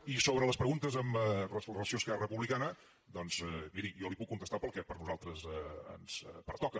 i sobre les preguntes amb relació a esquerra republicana doncs miri jo li puc contestar pel que a nosaltres ens pertoca